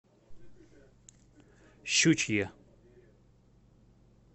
щучье